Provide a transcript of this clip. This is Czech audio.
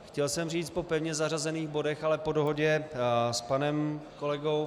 Chtěl jsem říct po pevně zařazených bodech, ale po dohodě s panem kolegou